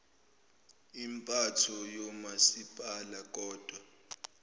impatho yomasipala kodwa